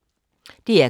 DR K